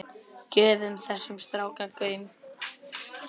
Gefið þessum strák gaum.